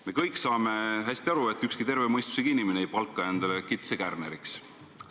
Me kõik saame hästi aru, et ükski terve mõistusega inimene ei palka endale kitse kärneriks.